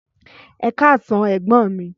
Ẹkasan ẹgbọn mi